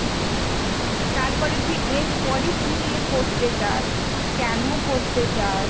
তারপরে তুই এরপরে কি নিয়ে পড়তে চাস? কেন পড়তে চাস?